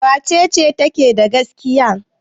Wace ce take da gaskiya?